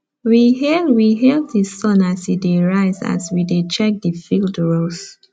we hail we hail the sun as e dey rise as we dey check the field rows